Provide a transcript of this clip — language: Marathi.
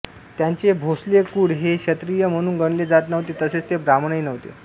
त्यांचे भोसले कूळ हे क्षत्रिय म्हणून गणले जात नव्हते तसेच ते ब्राह्मणही नव्हते